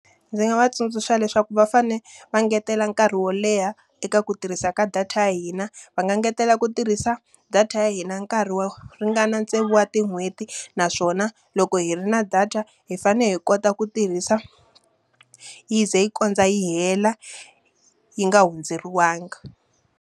Ndzi nga va tsundzuxa leswaku va fanele va ngetela nkarhi wo leha eka ku tirhisa ka data ya hina. Va nga ngetela ku tirhisa data ya hina nkarhi wo ringana tsevu wa tin'hweti. Naswona loko hi ri na data hi fanele hi kota ku tirhisa, yi ze yi kondza yi hela yi nga hundzeriwanga.